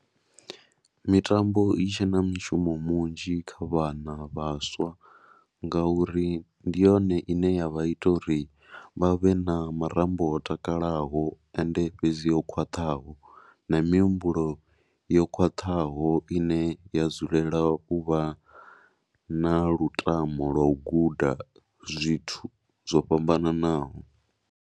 Mitambo i tshe na mishumo munzhi kha vhana vhaswa ngauri ndi yone i ne ya vha ita uri vha vhe na marambo o takalaho ende fhedzi o khwaṱhaho na mihumbulo yo khwaṱhaho i ne ya dzulela u vha na lutamo lo guda zwithu zwo fhambananaho.